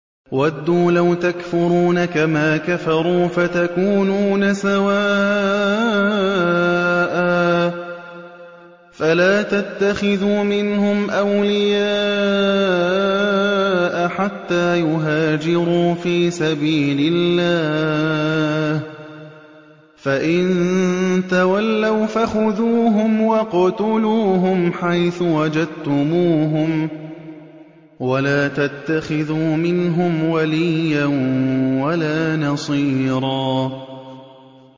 وَدُّوا لَوْ تَكْفُرُونَ كَمَا كَفَرُوا فَتَكُونُونَ سَوَاءً ۖ فَلَا تَتَّخِذُوا مِنْهُمْ أَوْلِيَاءَ حَتَّىٰ يُهَاجِرُوا فِي سَبِيلِ اللَّهِ ۚ فَإِن تَوَلَّوْا فَخُذُوهُمْ وَاقْتُلُوهُمْ حَيْثُ وَجَدتُّمُوهُمْ ۖ وَلَا تَتَّخِذُوا مِنْهُمْ وَلِيًّا وَلَا نَصِيرًا